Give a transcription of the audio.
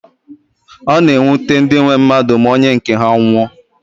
Ọ na-ewute ndị nwe mmadụ ma onye nke ha nwụọ